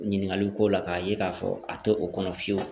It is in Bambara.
Ɲininkaliw ko la k'a ye k'a fɔ a tɛ o kɔnɔ fiyewu